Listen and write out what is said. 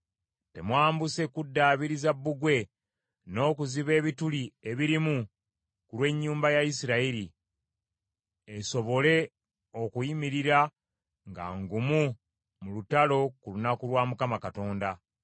Temwambuse kuddaabiriza bbugwe n’okuziba ebituli ebirimu ku lw’ennyumba ya Isirayiri, esobole okuyimirira nga ngumu mu lutalo ku lunaku lwa Mukama Katonda.